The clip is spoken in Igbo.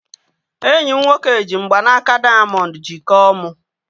Enyi m nwoke ji mgbanaka dayamondu jikọọ mu